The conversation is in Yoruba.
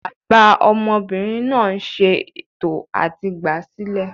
Bàbá ọmọbìnrin náà ń ṣè tò à ti gbáa sílẹ̀